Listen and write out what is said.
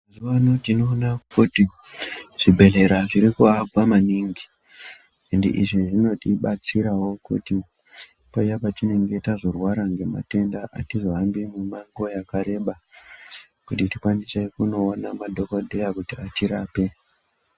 Panotinoona kuti zvibhedhlera zviri kuwakwa maningi ende izvi zvinoiti batsirawo kuti paya patinenge tazorwara matenda akati wandeyi nguva yakareba kuti tikwanise kunoona madhokodheya kuti atirape.